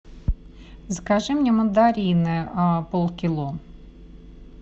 закажи мне мандарины полкило